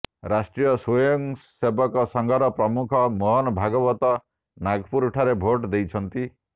ରାଷ୍ଟ୍ରୀୟ ସ୍ବୟଂସେବକ ସଂଘର ପ୍ରମୁଖ ମୋହନ ଭାଗବତ ନାଗପୁରଠାରେ ଭୋଟ ଦେଇଛନ୍ତି